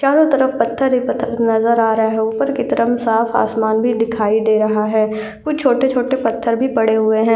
चारों तरफ पत्थर ही पत्थर नजर आ रहा है ऊपर की तरफ साफ आसमान भी दिखाई दे रहा है कुछ छोटे छोटे पत्थर भी पड़े हुऐ हैं।